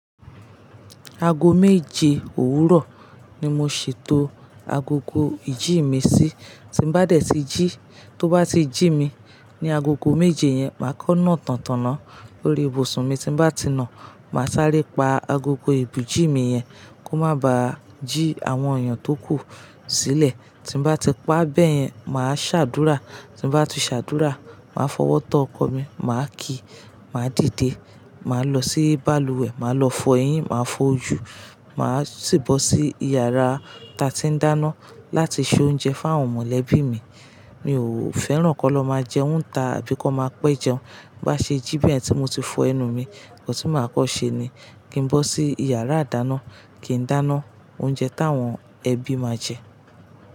Aago méje òwúrọ̀ ni mo ṣètò agogo ìjí mi sí. Tí n bá dé tí jí, tó bá ti jí mi, ni agogo méje yẹn, màá kọ́ ná tán ta ná lórí ibùsùn mi. Tí n bá ti nà, màá sáré pa agogo èbùjí mi yẹn kó má bàá jí àwọn èèyàn tó kú sílẹ̀. Tí n bá ti pa báyẹn, màá ṣàdúrà. Tí n bá ti ṣàdúrà, màá fọwọ́ tọ ọkọ mi, màá kìí, màá dìde. Màá lọ sí balùwẹ̀, màá lọ fọ eyín, màá fọ ojú, màá sì bọ́ sí iyàrá ta tí n dáná láti ṣe oúnjẹ fún àwọn mọ̀lẹ́bí mi. Mi ò fẹ́ràn kó lọ máa jẹun nta àbí kó máa pẹ́ jẹun. Bá ṣe jí bayi tí mo ti fọ ẹnu mi, òún tí màá kọ́ ṣe ni kí n bọ́ sí iyàrá dáná kí n dáná oúnjẹ táwọn ẹbí máa jẹ.